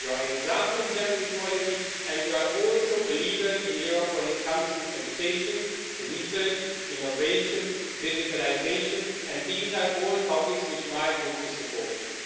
You are an example in gender equality and you are also a leader in Europe when it comes to education, research, innovation, digitalisation, and these are all topics which my group is supporting.